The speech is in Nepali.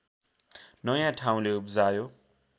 नया ठाउँले उब्जायो